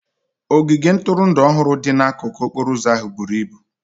Ogige ntụrụndụ ọhụrụ dị n'akụkụ okporo ụzọ ahụ buru ibu.